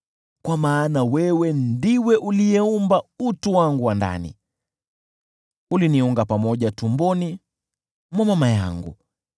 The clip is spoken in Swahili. Kwa maana wewe ndiwe uliyeumba utu wangu wa ndani; uliniunga pamoja tumboni mwa mama yangu.